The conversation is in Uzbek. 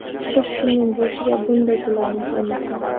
Hech kimning boshiga bunday kunlarni solmasin.